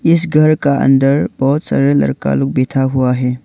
इस घर का अंदर बहुत सारा लड़का लोग बैठा हुआ है।